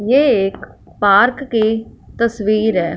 ये एक पार्क की तस्वीर है।